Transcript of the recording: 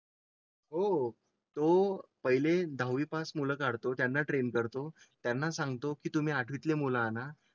हो तो पहिले दहावी पास मुळे त्यांना ट्रेन करतो. त्यांना सांगतो की तुम्ही आठवीतले मुल आणा